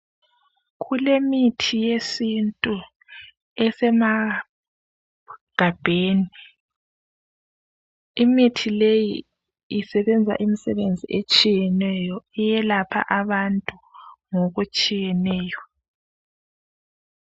Kulemithi yesintu esemagabheni imithi leyi isebenza imisebenzi etshiyeneyo .Iyelapha abantu ngokutshiyeneyo.